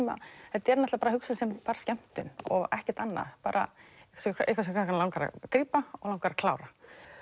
þetta er náttúrulega hugsað sem bara skemmtun og ekkert annað bara eitthvað sem krakkana langar að grípa og langar að klára